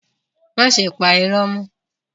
Máṣe pa ìró mọ́.